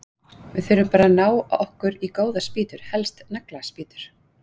Við þurfum bara að ná okkur í góðar spýtur, helst nagla- spýtur!